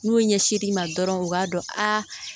N'u ɲɛsir'i ma dɔrɔn u b'a dɔn a